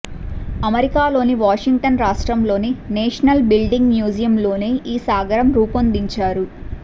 అమెరికాలోని వాషింగ్టన్ రాష్ట్రంలోని national building మ్యూజియంలోనే ఈ సాగరం రూపొందించారు